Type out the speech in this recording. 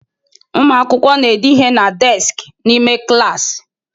Ụmụ akwụkwọ na-ede ihe na deskị n'ime klaasị.